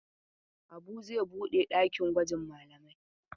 Habu zai buɗe ɗakin gwajin malamai.